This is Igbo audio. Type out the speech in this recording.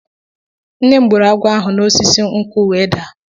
Nne m gburu agwọ ahụ si n'osisi nkwu wee daa.